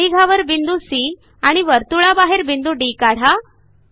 परिघावर बिंदू सी आणि वर्तुळाबाहेर बिंदू डी काढा